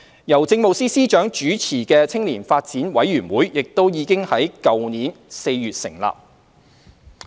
由政務司司長主持的青年發展委員會亦已於去年4月成立。